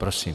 Prosím.